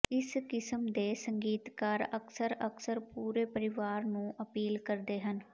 ਇਸ ਕਿਸਮ ਦੇ ਸੰਗੀਤਕਾਰ ਅਕਸਰ ਅਕਸਰ ਪੂਰੇ ਪਰਿਵਾਰ ਨੂੰ ਅਪੀਲ ਕਰਦੇ ਹਨ